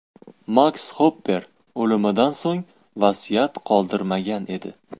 Maks Xopper o‘limidan so‘ng vasiyat qoldirmagan edi.